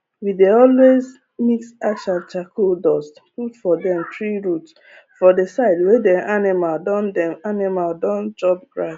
we dey always mix ash and charcoal dust put for dem tree root for the side wey dem animal don dem animal don chop grass